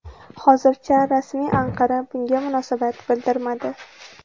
Hozircha rasmiy Anqara bunga munosabat bildirmadi.